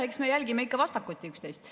Eks me jälgime ikka vastakuti üksteist.